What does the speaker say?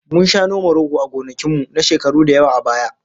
Mun sha noma rogo a gonakin mu, na shekaru da yawa a baya